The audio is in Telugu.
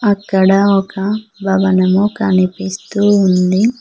అక్కడ ఒక భవనము కనిపిస్తూ ఉంది.